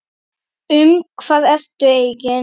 Um hvað ertu eigin